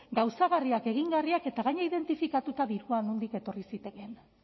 gauzagarriak egingarriak eta gainera identifikatuta dirua nondik etorri zitekeen